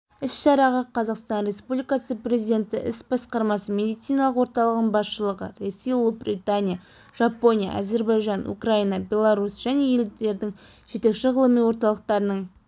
іс-шараға қазақстан республикасы президенті іс басқармасы медициналық орталығының басшылығы ресей ұлыбритания жапония әзербайжан украина беларусь және елдердің жетекші ғылыми орталықтарының